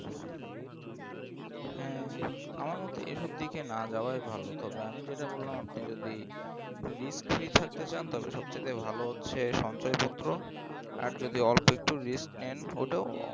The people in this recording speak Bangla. হ্যাঁ আমার মতে এসব দিকে না যাওয়াই ভালো তবে আমি যেটা বললাম আপনি যদি risk-free থাকতে চান তাহলে সবচাইতে ভালো হচ্ছে সঞ্চয়পত্র আর যদি অল্প একটু risk নেন ওটাও